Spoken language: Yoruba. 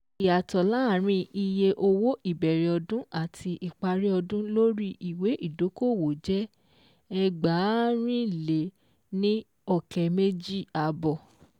Ìyàtọ̀ láàárín iye owó ìbẹ̀rẹ̀ ọdún àti ìparí ọdún lórí ìwé ìdókòwò jẹ́:ẹgbàárìnléníọ̀kẹ́méjìàbọ̀